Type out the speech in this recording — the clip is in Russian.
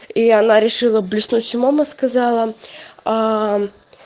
и она решила блеснуть умом и сказала аа